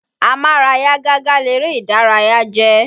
Amára yágágá léré ìdárayá jẹ́.